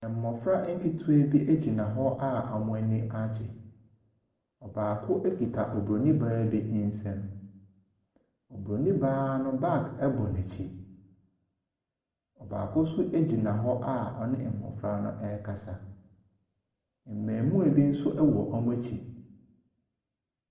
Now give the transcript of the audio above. Mmɔfra nketewa bi egyina hɔ a wɔn aniagye. Ɔbaako ekuta obroni baa bi nsɛm. Obronii baa no bag ɛbɔ n'akyi. Baako nso egyina hɔ a ɔne mmɔfra no ɛrekasa. Mmɛɛmoa bi nso ɛwɔ wɔn akyi.